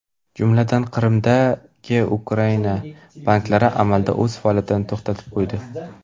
Jumladan, Qrimdagi Ukraina banklari amalda o‘z faoliyatini to‘xtatib qo‘ydi.